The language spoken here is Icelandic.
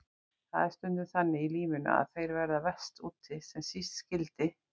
Það er stundum þannig í lífinu að þeir verða verst úti sem síst skyldi.